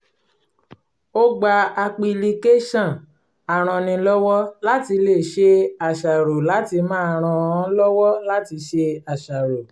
ó gba apilicáṣọ̀n arannílọ́wọ́-láti-ṣe-àṣàrò láti máa ràn án lọ́wọ́ láti ṣe àṣàrò